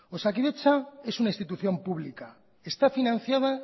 osakidetza es una institución pública esta financiada